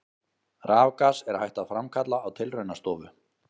Rafgas er hægt að framkalla á tilraunastofu.